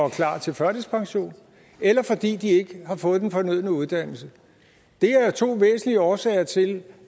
klar til førtidspension eller fordi de ikke har fået den fornødne uddannelse det er to væsentlige årsager til